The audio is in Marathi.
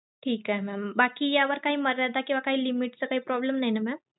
ठीक आहे mam बाकी यावर काही मर्यादा किंवा काही limit च काही problem नाही ना mam?